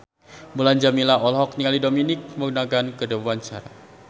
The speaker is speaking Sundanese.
Mulan Jameela olohok ningali Dominic Monaghan keur diwawancara